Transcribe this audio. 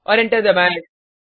और एंटर दबाएँ